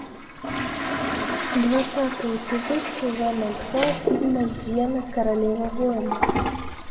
двадцатый эпизод сезона два фильма зена королева воинов